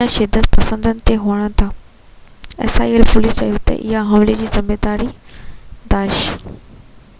police چيو تہ اهي حملي جي ذميواري داعش isil جي مبينا شدت پسندن تي هڻن ٿا